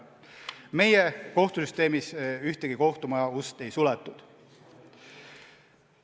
Meie kohtusüsteemis ühegi kohtumaja ust ei suletud.